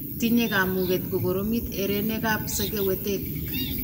Tinyei kamuget kukoromit herenekap sekewetek.